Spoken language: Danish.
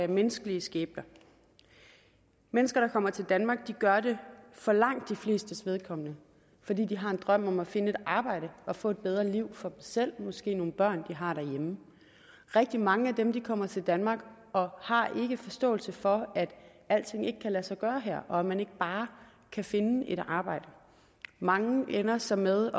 menneskelige skæbner mennesker der kommer til danmark gør det for langt de flestes vedkommende fordi de har en drøm om at finde et arbejde og få et bedre liv for dem selv og måske nogle børn de har derhjemme rigtig mange af dem kommer til danmark og har ikke forståelse for at alting ikke kan lade sig gøre her og at man ikke bare kan finde et arbejde mange ender så med